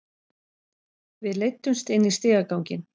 Við leiddumst inn í stigaganginn.